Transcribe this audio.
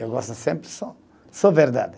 Eu gosto sempre só, só verdade.